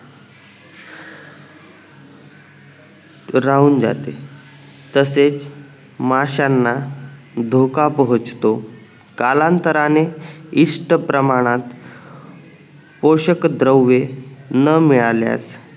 राहून जाते तसेच माश्यांना धोका पोहचतो कालांतराने इष्ट प्रमाणात पोषक द्रव्ये न मिळाल्यास